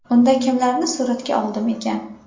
Unda kimlarni suratga oldim ekan?